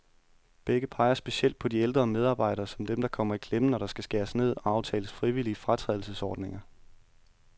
Begge peger specielt på de ældre medarbejdere, som dem, der kommer i klemme, når der skal skæres ned og aftales frivillige fratrædelsesordninger.